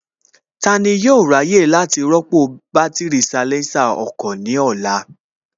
Tani yóò ráyè láti rọ́pò bátìrì salésà ọkọ̀ ní ọ̀la?